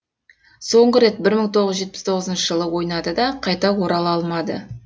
соңғы рет бір мың тоғыз жүз жетпіс тоғызыншы жылы ойнады да қайта орала алмады